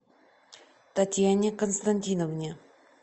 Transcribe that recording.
татьяне константиновне